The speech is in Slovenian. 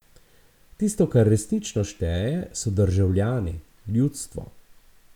Tisto, kar resnično šteje, so državljani, ljudstvo.